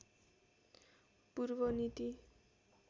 पूर्व नीति